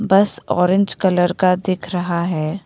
बस orange colour का दिख रहा है।